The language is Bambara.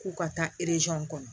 K'u ka taa kɔnɔ